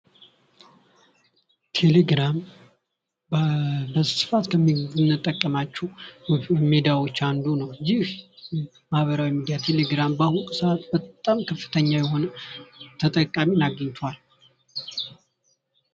ቴሌግራም በስፋት ከምንጠቀማቸው ሶሻል ሚዲያዎች አንዱ ነው። ይህ ማህበራዊ ሚዲያ ቴሌግራም በአሁኑ ሰአት በጣም ከፍተኛ የሆነ ተጠቃሚን አግኝቷል።